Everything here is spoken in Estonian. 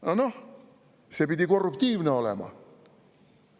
Aga noh, see pidi korruptiivne olema.